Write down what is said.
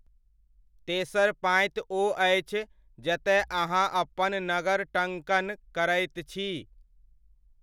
तेसर पाँति ओ अछि जतय अहाँ अपन नगर टङ्कण करैत छी।